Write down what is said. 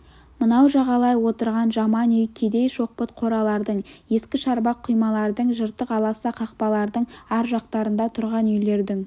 мынау жағалай отырған жаман үй кедей шоқпыт қоралардың ескі шарбақ құймалардың жыртық аласа қақпалардың ар жақтарында тұрған үйлердің